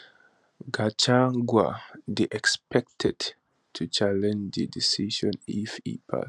gachagua dey expected to challenge di decision if e pass